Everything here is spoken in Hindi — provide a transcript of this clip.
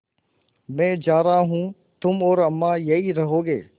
मैं जा रहा हूँ तुम और अम्मा यहीं रहोगे